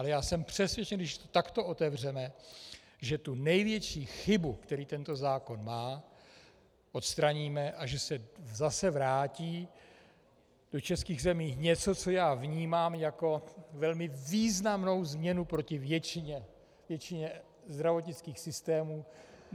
Ale já jsem přesvědčen, když to takto otevřeme, že tu největší chybu, kterou tento zákon má, odstraníme a že se zase vrátí do českých zemí něco, co já vnímám jako velmi významnou změnu proti většině zdravotnických systémů.